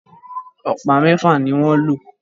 Ọ̀pá mẹfa ní wan ló